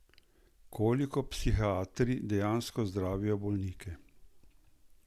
Koliko psihiatri dejansko zdravijo bolnike?